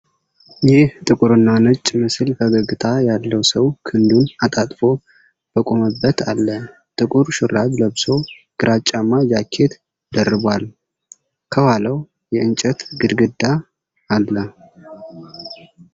ይህ ጥቁርና ነጭ ምስል ፈገግታ ያለው ሰው ክንዱን አጣምሮ በቆመበት አለ። ጥቁር ሹራብ ለብሶ ግራጫማ ጃኬት ደርቧል። ከኋላው የእንጨት ግድግዳ አለ።